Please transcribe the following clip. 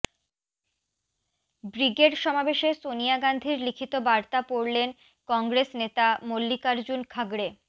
brigade সমাবেশে সোনিয়া গান্ধীর লিখিত বার্তা পড়লেন কংগ্রেস নেতা মল্লিকার্জুন খাড়গে